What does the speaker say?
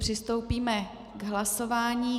Přistoupíme k hlasování.